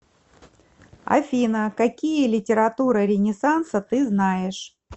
афина какие литература ренессанса ты знаешь